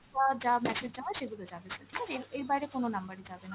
যা message যাবার সেগুলো যাবে sir ঠিক আছে, এর এর বাইরে কোন number এ যাবেনা।